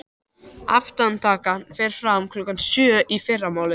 Aftakan fer fram klukkan sjö í fyrramálið.